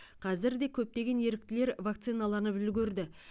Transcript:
қазір де көптеген еріктілер вакциналанып үлгерді